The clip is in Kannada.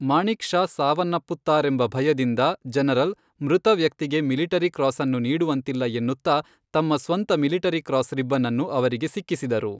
ಮಾಣಿಕ್ ಷಾ ಸಾವನ್ನಪ್ಪುತ್ತಾರೆಂಬ ಭಯದಿಂದ, ಜನರಲ್, ಮೃತ ವ್ಯಕ್ತಿಗೆ ಮಿಲಿಟರಿ ಕ್ರಾಸ್ಅನ್ನು ನೀಡುವಂತಿಲ್ಲ ಎನ್ನುತ್ತಾ ತಮ್ಮ ಸ್ವಂತ ಮಿಲಿಟರಿ ಕ್ರಾಸ್ ರಿಬ್ಬನ್ಅನ್ನು ಅವರಿಗೆ ಸಿಕ್ಕಿಸಿದರು.